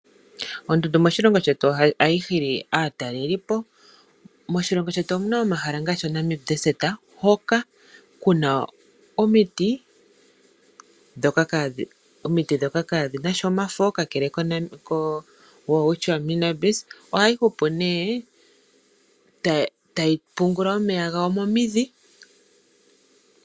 Oondundu moshilongo shetu ohadhi hili aatalelipo. Moshilongo shetu omuna omahala ngaashi oNamib Desert hoka kuna omiti ndhoka kaadhina sha omafo. Kakele koWelwitschia Mirabilis ohayi hupu nee tayi pungula omeya gawo momidhi.